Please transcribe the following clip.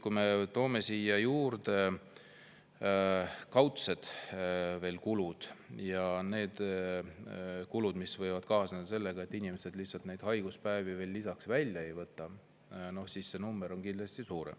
Kui me toome siia juurde kaudsed kulud ja kulud, mis võivad kaasneda sellega, et inimesed haiguspäevi lihtsalt välja ei võta, siis see number on kindlasti suurem.